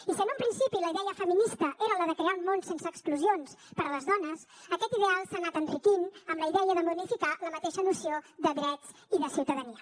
i si en un principi la idea feminista era la de crear un món sense exclusions per a les dones aquest ideal s’ha anat enriquint amb la idea de modificar la mateixa noció de drets i de ciutadania